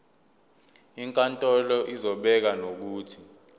inkantolo izobeka nokuthi